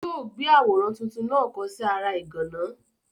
Yóò gbé àwòrán tuntun náà kọ̀ ọ́ sí ara ìgànná.